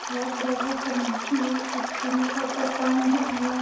बहुत बड़ा सा मूर्ति है। कुछ उनके ऊपर पंख है।